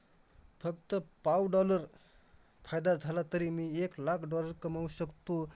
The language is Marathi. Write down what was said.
फक्त पाव dollar फायदा झाला तरी, मी एक लाख dollar कमवू शकतो.